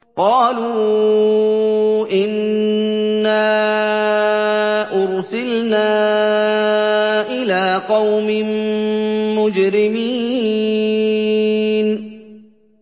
قَالُوا إِنَّا أُرْسِلْنَا إِلَىٰ قَوْمٍ مُّجْرِمِينَ